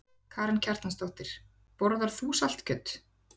Karen Kjartansdóttir: Borðar þú saltkjöt?